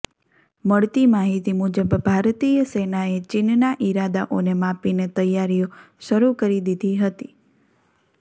મળતી માહિતી મુજબ ભારતીય સેનાએ ચીનના ઇરાદાઓને માપીને તૈયારીઓ શરૂ કરી દીધી હતી